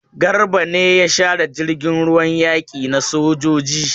Garba ne ya share jirgin ruwan yaki na sojoji?